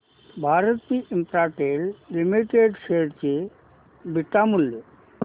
Bharti Infratel limited share चे beta मूल्य